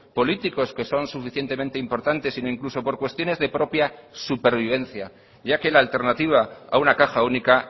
políticos que son suficientemente importantes sino incluso por cuestiones de propia supervivencia ya que la alternativa a una caja única